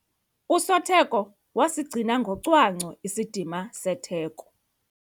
Usotheko wasigcina ngocwangco isidima setheko.